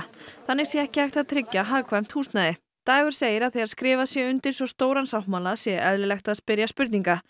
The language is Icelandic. þannig sé ekki hægt að tryggja hagkvæmt húsnæði dagur segir að þegar skrifað sé undir svo stóran sáttmála sé eðlilegt að spyrja spurninga